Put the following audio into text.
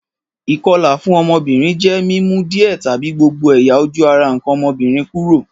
Ìkolà fun ọ́mọ́bìnrin je mi mu díẹ̀ tàbi gbogbo ẹ̀yà-ojú ara nkàn ọ́mọ́bìnrin kúrò.